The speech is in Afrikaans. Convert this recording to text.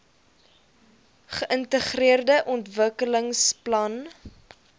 geintegreerde ontwikkelingsplan idp